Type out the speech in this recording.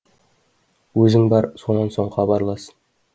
өзің бар сонан соң хабарлас